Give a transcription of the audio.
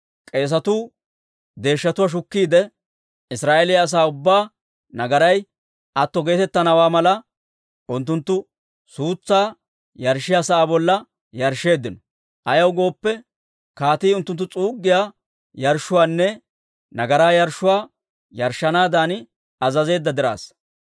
K'eesetuu deeshshatuwaa shukkiide, Israa'eeliyaa asaa ubbaa nagaray atto geetettanawaa mala, unttunttu suutsaa yarshshiyaa sa'aa bolla yarshsheeddino. Ayaw gooppe, kaatii unttunttu s'uuggiyaa yarshshuwaanne nagaraa yarshshuwaa yarshshanaadan azazeedda dirassa.